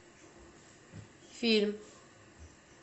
фильм